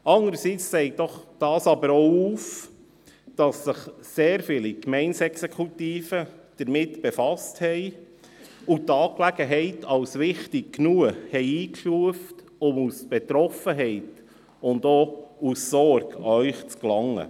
Allerdings zeigt es doch auch, dass sich sehr viele Gemeindeexekutiven damit befasst haben und sie die Angelegenheit als wichtig genug eingestuft haben, um aus Betroffenheit und Sorge an Sie zu gelangen.